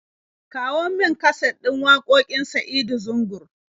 Kawo min kaset din waƙoƙin Sa'adu Zungur.